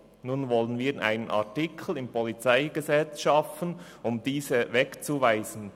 Nun wollen wir einen Artikel im PolG schaffen, um diese wegzuweisen.